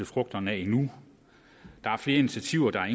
frugterne af endnu der er flere initiativer der er